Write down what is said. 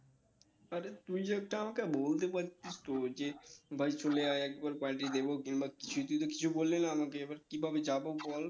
আরে তুই একটা আমাকে বলতে পারতিস তো যে ভাই চলে আই একবার party দেব কিংবা কিছু তুই তো কিছু বললিনা আমাকে এবার কিভাবে যাবো বল